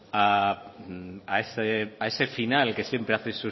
a ese final que siempre hace en